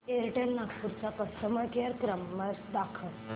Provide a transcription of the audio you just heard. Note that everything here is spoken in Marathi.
एअरटेल नागपूर चा कस्टमर केअर नंबर दाखव